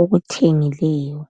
okuthengileyo.